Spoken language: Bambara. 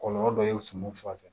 Kɔlɔlɔ dɔ ye suman sanfɛ